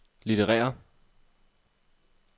litterære